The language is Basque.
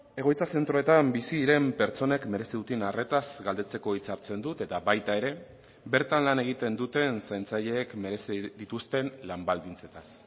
egoitza zentroetan bizi diren pertsonek merezi duten arretaz galdetzeko hitza hartzen dut eta baita ere bertan lan egiten duten zaintzaileek merezi dituzten lan baldintzetaz